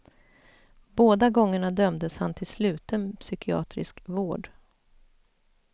Båda gångerna dömdes han till sluten psykiatrisk vård.